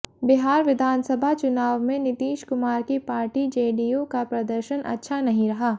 बिहार विधानसभा चुनाव में नीतीश कुमार की पार्टी जेडीयू का प्रदर्शन अच्छा नहीं रहा